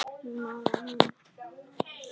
Maggi sá illa á miðann.